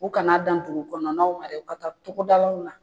U kana dan dugu kɔnɔna na dɛ u ka taa togodalaw la